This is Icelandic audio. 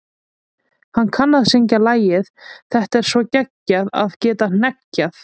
Hann kann að syngja lagið Það er svo geggjað að geta hneggjað.